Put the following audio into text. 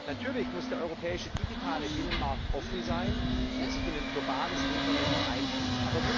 Natürlich muss der europäische digitale Binnenmarkt offen sein und sich in ein globales Internet einfügen.